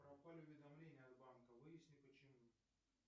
пропали уведомления от банка выясни почему